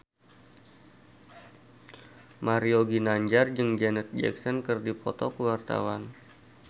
Mario Ginanjar jeung Janet Jackson keur dipoto ku wartawan